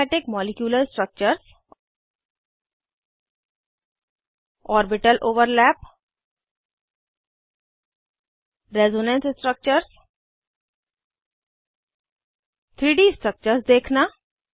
aromatic molecular structures orbital overlap resonance structures 3डी structures देखना